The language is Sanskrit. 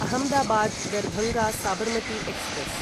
अहमदाबाद् दर्भाङ्ग साबर्मति एक्स्प्रेस्